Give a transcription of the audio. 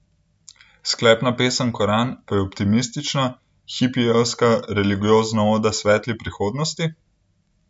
Sklepna pesem Koran pa je optimistična, hipijevsko religiozna oda svetli prihodnosti?